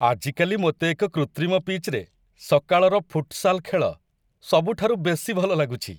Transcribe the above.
ଆଜିକାଲି ମୋତେ ଏକ କୃତ୍ରିମ ପିଚ୍‌ରେ ସକାଳର ଫୁଟସାଲ୍ ଖେଳ ସବୁଠାରୁ ବେଶୀ ଭଲ ଲାଗୁଛି!